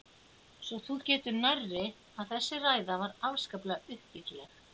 Svo þú getur nærri, að þessi ræða var afskaplega uppbyggileg!!